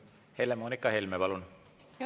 Helle-Moonika Helme, palun!